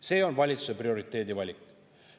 See on valitsuse prioriteedivalik.